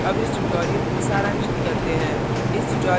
अब इस tutorial को सारांशित करते हैं